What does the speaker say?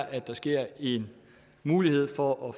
at der sker en mulighed for at